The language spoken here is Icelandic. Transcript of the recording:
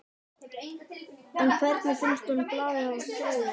En hvernig finnst honum blaðið hafa þróast?